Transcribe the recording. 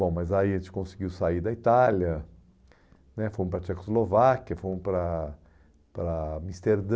Bom, mas aí a gente conseguiu sair da Itália né, fomos para a Tchecoslováquia, fomos para para Amsterdã,